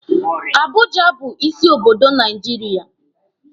Abuja bu isi obodo Naijiria.